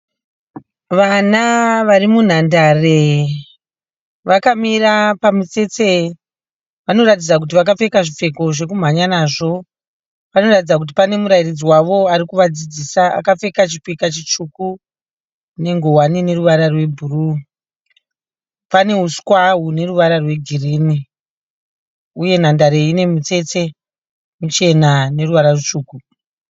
Vana vari munhandare vakamira pamutsetse. Vanoratidza kuti vakapfeka zvipfeko zvokumhanya nazvo. Panoratidza kuti pane murairidzi wavo ari kuvadzidzisa akapfeka chipika chitsvuku nengowani ine ruvara rwebhuruu. Pane uswa hune ruvara rwegirini uyewo nhandare iyi ine mitsetse michena neruvara rutsvuku.